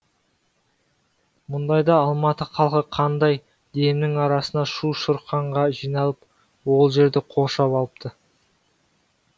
мұндайда алматы халқы қандай демнің арасында шу шұрқанға жиналып ол жерді қоршап алыпты